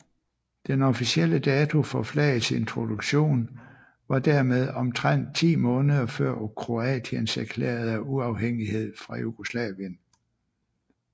Den officielle dato for flagets introduktion var dermed omtrent ti måneder før Kroatiens erklærede uafhængighed fra Jugoslavien